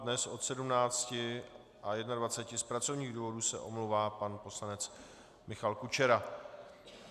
Dnes od 17 a 21 z pracovních důvodů se omlouvá pan poslanec Michal Kučera.